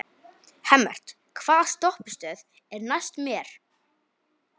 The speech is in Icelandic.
Hemmert, hvaða stoppistöð er næst mér?